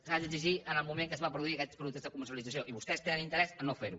s’han d’exigir en el moment que es van produir aquests productes de comercialització i vostès tenen interès a no fer ho